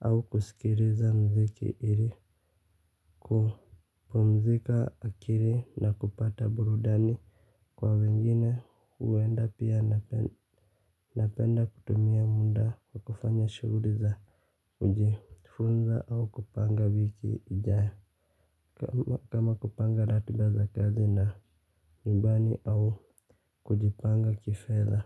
au kusikiliza muziki ili kupumzika akili na kupata burudani kwa wengine huenda pia napenda kutumia muda kwa kufanya shughuli za kujifunza au kupanga wiki ijayo. Kama kupanga ratiba za kazi na nyumbani au kujipanga kifedha.